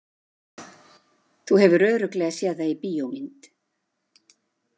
Þú hefur örugglega séð það í bíómynd